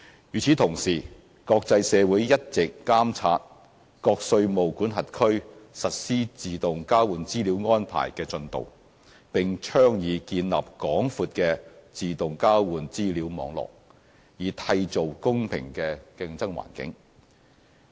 與此同時，國際社會一直監察各稅務管轄區實施自動交換資料安排的進度，並倡議建立廣闊的自動交換資料網絡，以締造公平的競爭環境。